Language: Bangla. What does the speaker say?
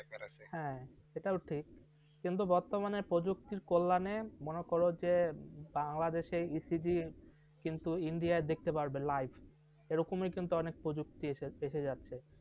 হা, এটাও ঠিক। কিন্তু বর্তমানে প্রযুক্তির কল্যাণে মনে করো যে বাংলাদেশে ecg কিন্তু ইন্ডিয়া দেখতে পারবে, live এ রকমই কিন্তু অনেক প্রযুক্তি এসে যাচ্ছে।